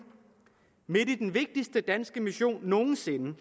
midt i den vigtigste danske mission nogen sinde